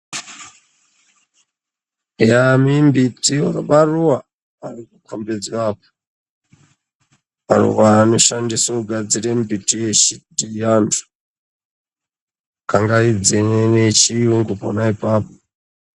Mimbiti maruwa, maruwa anoshandiswa kugadziramimbiti yechiantu kangaidzei neyechiyungu pona ipapo